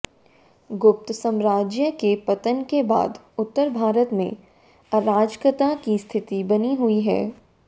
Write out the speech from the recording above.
गुप्त साम्राज्य के पतन के बाद उत्तर भारत में अराजकता की स्थिति बनी हुई थी